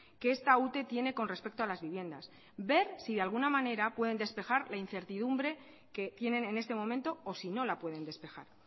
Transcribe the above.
que esta ute tiene con respecto a las viviendas ver si de alguna manera pueden despejar la incertidumbre que tienen en este momento o si no la pueden despejar